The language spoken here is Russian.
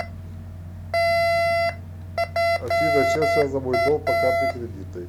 афина с чем связан мой долг по карте кредитной